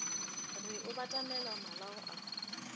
re o batamela malao a